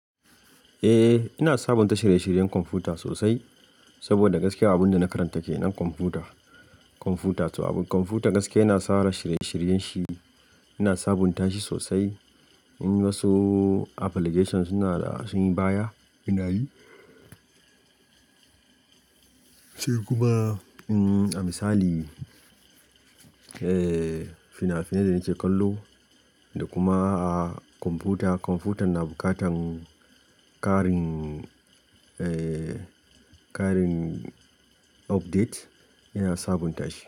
Eh, ina sabunta shirye-shiryen kwamfuta sosai saboda gaskiya abin da na karanta kenan kwamfuta. Kwamfuta gaskiya yana tsara shirye-shiryen shi, ina sabunta shi sosai. In wasu application suna da sun yi baya ina yi. Sai kuma a misali, eh fina-finai da nake kallo da kuma kwamfuta. Kwamfutan na bukatan ƙarin, eh ƙarin update ina sabunta shi.